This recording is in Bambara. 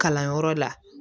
Kalanyɔrɔ la